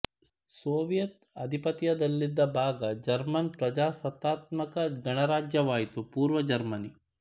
Soviet ಅಧಿಪತ್ಯದಲ್ಲಿದ್ದ ಭಾಗ German ಪ್ರಜಾಸತ್ತಾತ್ಮಕ ಗಣರಾಜ್ಯವಾಯಿತು ಪೂರ್ವ ಜರ್ಮನಿ